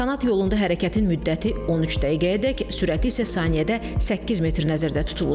Kanat yolunda hərəkətin müddəti 13 dəqiqəyədək, sürəti isə saniyədə 8 metr nəzərdə tutulur.